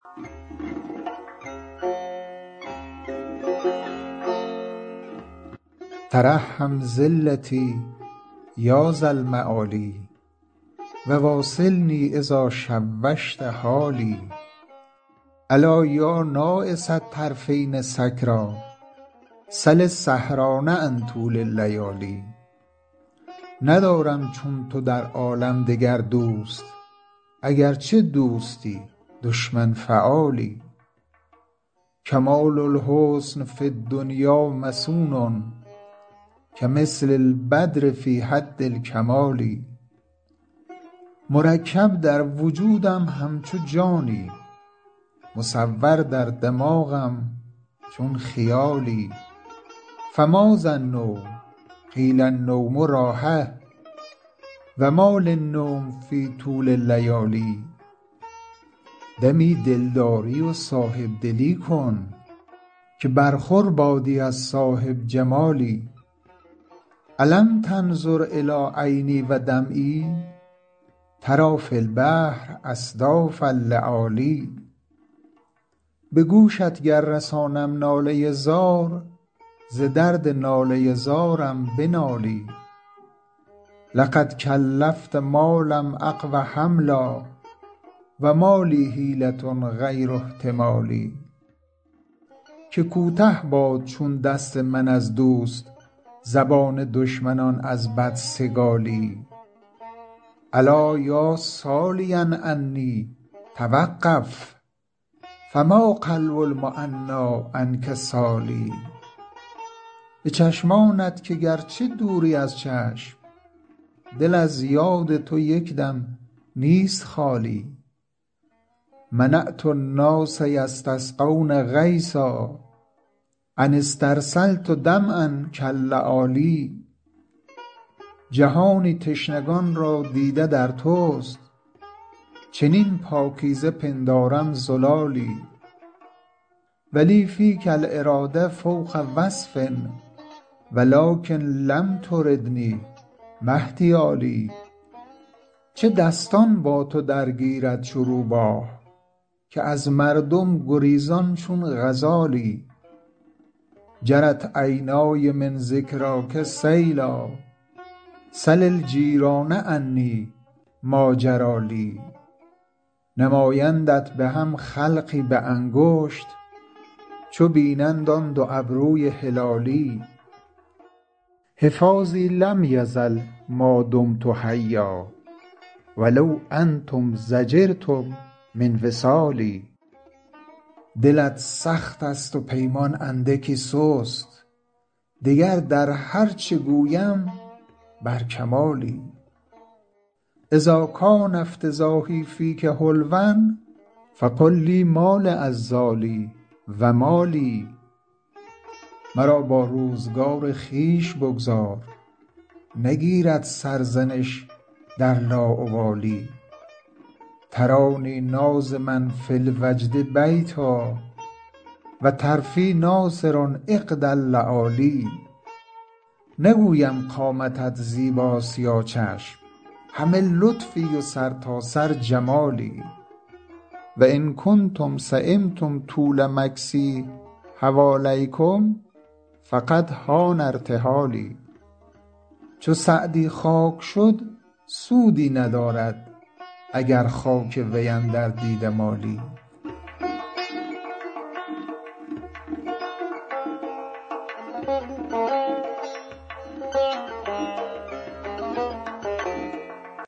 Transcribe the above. ترحم ذلتی یا ذا المعالی و واصلنی اذا شوشت حالی ألا یا ناعس الطرفین سکریٰ سل السهران عن طول اللیالی ندارم چون تو در عالم دگر دوست اگرچه دوستی دشمن فعالی کمال الحسن فی الدنیا مصون کمثل البدر فی حد الکمال مرکب در وجودم همچو جانی مصور در دماغم چون خیالی فماذا النوم قیل النوم راحه و ما لی النوم فی طول اللیالی دمی دلداری و صاحب دلی کن که برخور بادی از صاحب جمالی ألم تنظر إلی عینی و دمعی تری فی البحر أصداف اللآلی به گوشت گر رسانم ناله زار ز درد ناله زارم بنالی لقد کلفت ما لم أقو حملا و ما لی حیلة غیر احتمالی که کوته باد چون دست من از دوست زبان دشمنان از بدسگالی الا یا سالیا عنی توقف فما قلب المعنیٰ عنک سال به چشمانت که گرچه دوری از چشم دل از یاد تو یک دم نیست خالی منعت الناس یستسقون غیثا أن استرسلت دمعا کاللآلی جهانی تشنگان را دیده در توست چنین پاکیزه پندارم زلالی و لی فیک الإراده فوق وصف و لکن لم تردنی ما احتیالی چه دستان با تو درگیرد چو روباه که از مردم گریزان چون غزالی جرت عینای من ذکراک سیلا سل الجیران عنی ما جری لی نمایندت به هم خلقی به انگشت چو بینند آن دو ابروی هلالی حفاظی لم یزل ما دمت حیا و لو انتم ضجرتم من وصالی دلت سخت است و پیمان اندکی سست دگر در هر چه گویم بر کمالی اذا کان افتضاحی فیک حلوا فقل لی ما لعذالی و ما لی مرا با روزگار خویش بگذار نگیرد سرزنش در لاابالی ترانی ناظما فی الوجد بیتا و طرفی ناثر عقد اللآلی نگویم قامتت زیباست یا چشم همه لطفی و سرتاسر جمالی و ان کنتم سیمتم طول مکثی حوالیکم فقد حان ارتحالی چو سعدی خاک شد سودی ندارد اگر خاک وی اندر دیده مالی